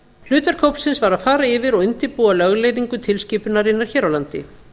hlutverk hópsins var að fara yfir og undirbúa lögleiðingu tilskipunarinnar hér á landi